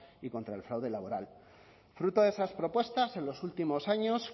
y contra el fraude laboral fruto de esas propuestas en los últimos años